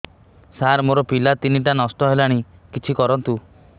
ସାର ମୋର ପିଲା ତିନିଟା ନଷ୍ଟ ହେଲାଣି କିଛି କରନ୍ତୁ